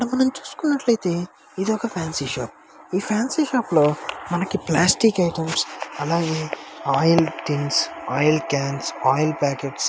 అక్కడ చూసుకున్నట్లయితే ఒక ఫ్యాన్సీ షాప్ ఈ ఫ్యాన్సీ షాప్ లో మనకైతే ప్లాస్టిక్ ఐటమ్స్ అలాగే oil tins oil cans oil packets--